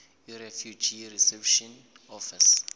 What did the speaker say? yirefugee reception office